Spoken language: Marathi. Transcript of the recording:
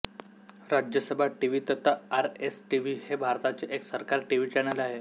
राज्यसभा टीव्ही तथा आरएसटीव्ही हे भारताचे एक सरकारी टीव्ही चॅनल आहे